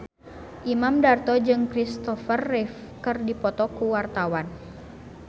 Imam Darto jeung Kristopher Reeve keur dipoto ku wartawan